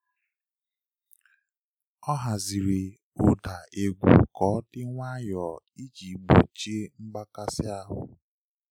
Ọ haziri ụda egwu ka ọ dị nwayọọ iji gbochie mgbakasị ahụ.